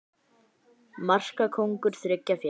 Markakóngur þriggja félaga